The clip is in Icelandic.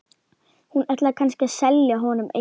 Hún ætlaði kannski að selja honum eitthvað.